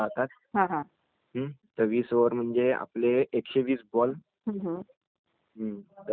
हम्म ...तर ते वीस वीस ओव्हरचा गेम राहते पन्नास ओव्हरचापण राहतो